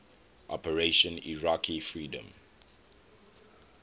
operation iraqi freedom